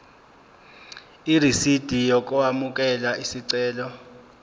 irisidi lokwamukela isicelo